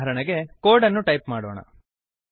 ಉದಾಹರಣೆಗೆ ಕೋಡ್ ಅನ್ನು ಟೈಪ್ ಮಾಡೋಣ